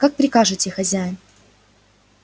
как прикажете хозяин